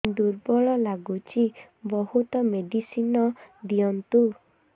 ଦୁର୍ବଳ ଲାଗୁଚି ବହୁତ ମେଡିସିନ ଦିଅନ୍ତୁ